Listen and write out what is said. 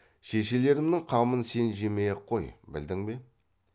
шешелерімнің қамын сен жемей ақ қой білдің бе